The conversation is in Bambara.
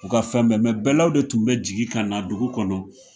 U ka fɛn bɛɛ bɛlaw de tun bɛ jigin ka na dugu kɔnɔ